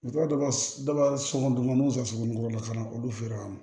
U taara dɔ ba sɔngɔ dama sugunɛbiyɔrɔ la ka na olu feere wa